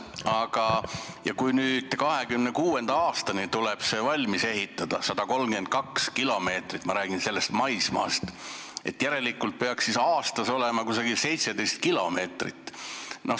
Aga kui 2026. aastaks tuleb valmis ehitada 132 kilomeetrit – ma räägin maismaast –, siis järelikult peaks aastas olema valmis umbes 17 kilomeetrit.